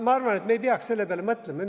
Ma arvan, et me ei peaks selle peale mõtlema.